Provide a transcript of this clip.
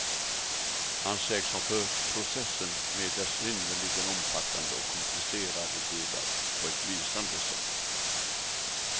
Han sägs ha fört processen med dess synnerligen omfattande och komplicerade delar på ett lysande sätt.